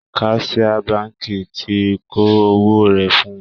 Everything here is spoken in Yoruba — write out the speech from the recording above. Kaṣiá báǹkì ti kó owó rẹ̀ fún-un